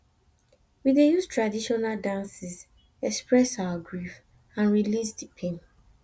we dey use traditional dances express our grief and release di pain